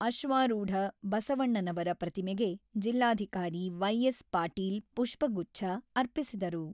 ಅಶ್ವಾರೂಢ ಬಸವಣ್ಣನವರ ಪ್ರತಿಮೆಗೆ ಜಿಲ್ಲಾಧಿಕಾರಿ ವೈ.ಎಸ್.ಪಾಟೀಲ್ ಪುಷ್ಪಗುಚ್ಚ ಅರ್ಪಿಸಿದರು.